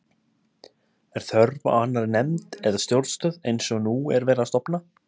Er þörf á annarri nefnd eða stjórnstöð eins og nú er verið að stofna?